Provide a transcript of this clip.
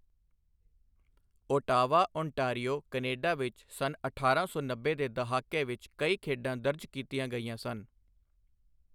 Ottawa, Ontario, Canada ਵਿੱਚ ਸੰਨ ਅਠਾਰਾਂ ਸੌ ਨੱਬੇ ਦੇ ਦਹਾਕੇ ਵਿੱਚ ਕਈ ਖੇਡਾਂ ਦਰਜ ਕੀਤੀਆਂ ਗਈਆਂ ਸਨ।